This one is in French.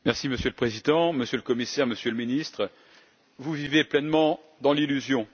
Monsieur le Président, Monsieur le Commissaire, Monsieur le Ministre, vous vivez pleinement dans l'illusion.